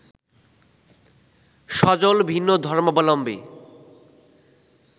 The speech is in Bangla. সজল ভিন্ন ধর্মাবলম্বী